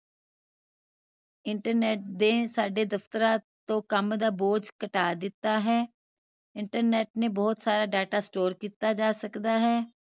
internet ਦੇ ਸਾਡੇ ਦਫਤਰਾਂ ਤੋਂ ਕਾਮ ਦਾ ਬੋਝ ਘਟਾ ਦਿੱਤਾ ਹੈ internet ਤੇ ਬਹੁਤ ਸਾਰਾ data store ਕੀਤਾ ਜਾ ਸਕਦਾ ਹੈ